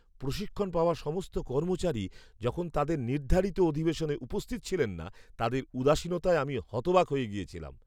প্রশিক্ষণ পাওয়া সমস্ত কর্মচারী যখন তাঁদের নির্ধারিত অধিবেশনে উপস্থিত ছিলেন না, তাঁদের উদাসীনতায় আমি হতবাক হয়ে গিয়েছিলাম।